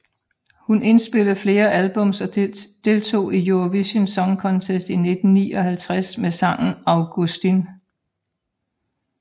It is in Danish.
Hun indspillede flere albums og deltog i Eurovision Song Contest i 1959 med sangen Augustin